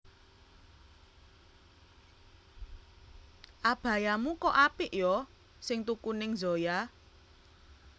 Abayamu kok apik yo sing tuku ning Zoya